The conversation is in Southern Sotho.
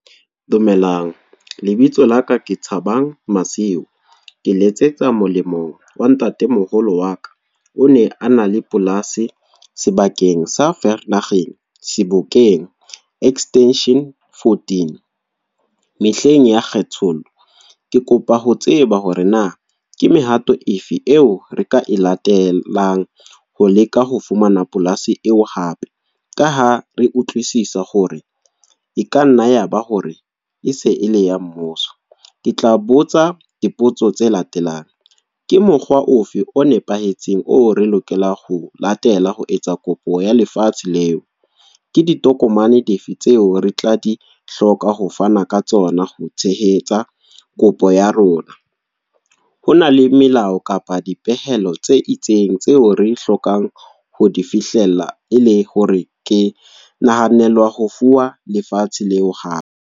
Dumelang, lebitso laka ke Thabang Masiu. Ke letsetsa molemong wa ntatemoholo wa ka. O ne a na le polasi, sebakeng sa Vereeniging Sebokeng Extension Fourteen, mehleng ya kgethollo. Ke kopa ho tseba hore na ke mehato efe eo re ka e latelang ho leka ho fumana polasi eo hape. Ka ha re utlwisisa hore e ka nna yaba hore e se e le ya mmuso. Ke tla botsa dipotso tse latelang, ke mokgwa ofe o nepahetseng o re lokela ho latela ho etsa kopo ya lefatshe leo? Ke ditokomane di fe tseo re tla di hloka ho fana ka tsona ho tshehetsa kopo ya rona? Hona le melao kapa dipehelo tse itseng tseo re hlokang ho di fihlella? E le hore ke nahanelwa ho fuwa lefatshe leo hape?